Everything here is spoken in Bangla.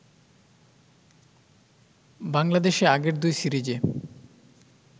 বাংলাদেশে আগের দুই সিরিজে